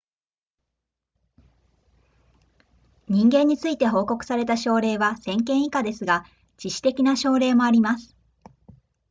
人間について報告された症例は1000件以下ですが致死的な症例もあります